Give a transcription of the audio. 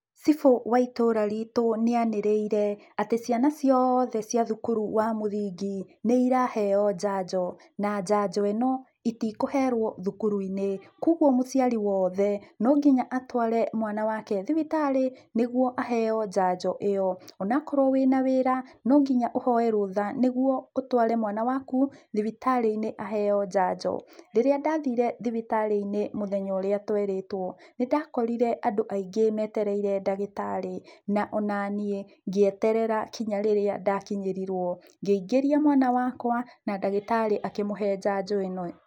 Cibũ wa itũra rĩtũ nĩanĩrĩire atĩ ciana ciothe cia thukuru wa mũthingi nĩiraheo njanjo, na njanjo ĩno itikũherwo thukuru-inĩ, koguo mũciari wothe no nginya atware mwana wake thibitarĩ, nĩguo aheyo njanjo ĩyo ona korwo wĩna wĩra no nginya ũhoye rũtha, nĩguo ũtware mwana waku thibitarĩ-inĩ aheyo njanjo. Rĩrĩa ndathire thibitarĩ-inĩ mũthenya ũria twerĩtwo nĩndakorire andũ aingĩ metereire ndagĩtarĩ na onanie ngĩeterera nginya rĩrĩa ndakinyĩrirwo, ngĩingĩria mwana wakwa na ndagĩtarĩ akĩmũhe njanjo ĩno.